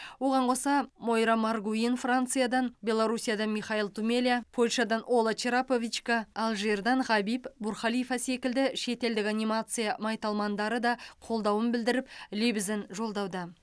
оған қоса мойра маргуин франциядан беларусиядан михаил тумеля польшадан ола чраповичка алжирдан хабиб бурхалифа секілді шетелдік анимация майталмандары да қолдауын білдіріп лебізін жолдауда